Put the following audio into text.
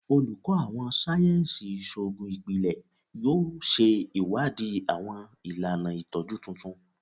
Oluko Awọn sáyẹnsì Iṣoogun Ipilẹ yoo ṣe iwadii awọn ilana itọju tuntun